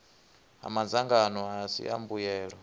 ha madzangano asi a mbuyelo